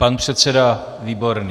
Pan předseda Výborný.